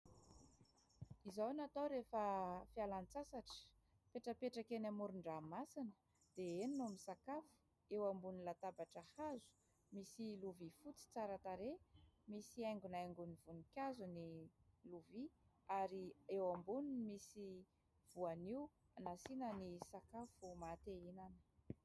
Izao no atao rehefa fialan-tsasatra, mipetrapetraka eny amoron- dranomasina dia eny no misakafo. Eo ambonin'ny latabatra hazo misy lovia fotsy tsara tarehy, misy aingonaingony voninkazo ny lovia ary eo amboniny misy voanio nasiana ny sakafo maha-te ihinana.